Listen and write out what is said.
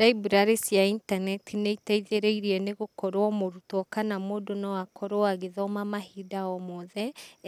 Library cia intaneti nĩiteithĩrĩirie nĩgũkorwo mũrũtwo kana mũndũ noakorwo agĩthoma mahinda omothe